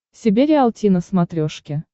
себе риалти на смотрешке